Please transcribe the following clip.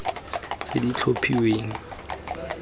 tse di tlhophilweng ka tshwanelo